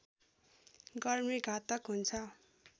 गर्मी घातक हुन्छ